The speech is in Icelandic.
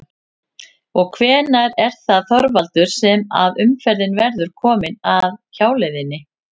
Og hvenær er það Þorvaldur sem að umferðin verður komin af hjáleiðinni?